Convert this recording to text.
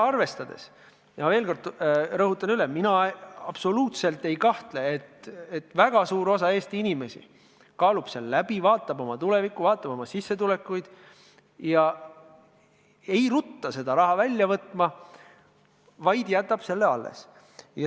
Ma veel kord rõhutan: mina absoluutselt ei kahtle selles, et väga suur osa Eesti inimesi kaalub olukorda, vaatab oma tulevikku, vaatab oma sissetulekuid ega rutta seda raha välja võtma, vaid jätab selle alles.